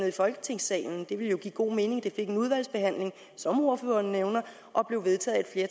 i folketingssalen det ville jo give god mening at det fik en udvalgsbehandling som ordføreren nævner og blev vedtaget af